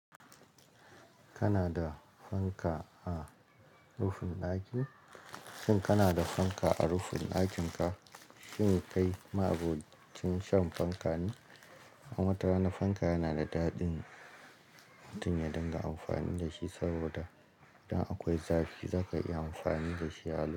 Kana da fanka a rufin ɗakin? Shin kana da fanka a rufin ɗakin ka? Shin kai ma'abocin shan fanka ne? A wata rana fanka yana da dadin tunya don ga amfani da shi saboda idan akwai zafi za ka iya amfani da shi allo.